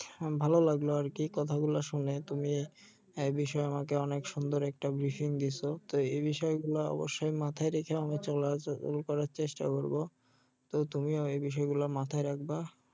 ভালো লাগলো আরকি কথা গুলো শুনে তুমি এ বিষয়ে আমাকে অনেক সুন্দর একটা ব্রিফিং দিছো তো এই বিষয় গুলা অবশ্যই মাথায় রেখে আমি চেষ্টা করবো তো তুমিও এই বিষয় গুলা মাথায় রাখবা